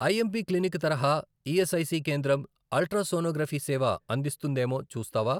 IMP clinic తరహా ESIC కేంద్రం ultrasonography సేవ అందిస్తుందేమో చూస్తావా?